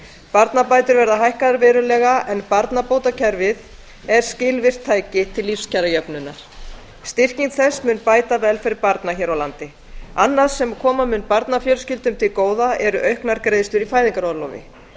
barnabætur verða hækkaðar verulega en barnabótakerfið er skilvirkt tæki til lífskjarajöfnunar styrking þess mun bæta velferð barna hér á landi annað sem koma mun barnafjölskyldum til góða eru auknar greiðslur í fæðingarorlofi